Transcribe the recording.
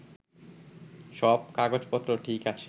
সব কাগজপত্র ঠিক আছে